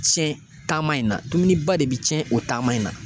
sɛn taama in na dumuni ba de be cɛn o taama in na